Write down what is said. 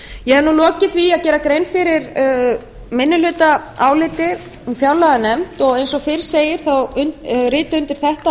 ég hef nú lokið því að gera grein fyrir minnihlutaáliti úr fjárlaganefnd eins og fyrr segir þá rita undir þetta